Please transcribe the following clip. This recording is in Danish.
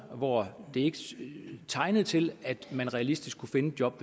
og hvor det ikke tegnede til at man realistisk kunne finde et job